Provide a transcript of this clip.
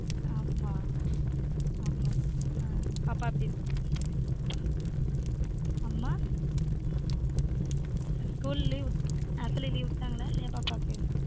ஆஹ்ம்மா ஹம் பாப்பா எப்படி இருக்கு? அம்மா? school leave half yearly leave விட்டாங்களா இல்லையா பாப்பாக்கு